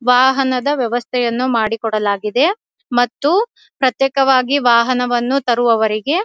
ವಾಹನದ ವ್ಯವಸ್ಥೆಯನ್ನು ಮಾಡಿಕೊಡಲಾಗಿದೆ ಮತ್ತು ಪ್ರತ್ಯೇಕವಾಗಿ ವಾಹನವನ್ನು ತರುವವರಿಗೆ --